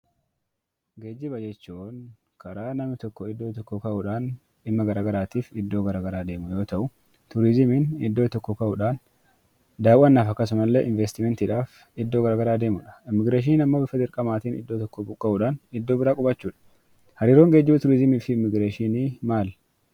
Geejjiba jechuun karaa namni tokko iddoo tokkoo ka'uu dhaan dhimma gara garaatiif iddoo gara garaa deemu yoo ta'u; Turiizimiin iddoo tokkoo ka'uu dhaan daawwannaaf akkasumallee investimentii dhaaf iddoo gara garaa deemu dha. Immigireeshiniin immoo bifa dirqamaatiin iddoo tokkoo buqqa'uu dhaan iddoo biraa qubachuu dha. Hariiroon Geejjiba, Turiizimii fi Immigireeshinii maali?